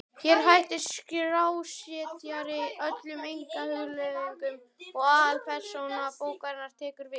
Hér hættir skrásetjari öllum einkahugleiðingum og aðalpersóna bókarinnar tekur við.